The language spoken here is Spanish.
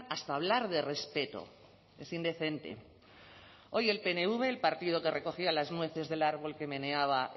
hasta a hablar de respeto es indecente hoy el pnv el partido que recogía las nueces del árbol que meneaba